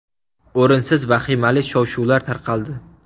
O‘rinsiz vahimali shov-shuvlar tarqaldi.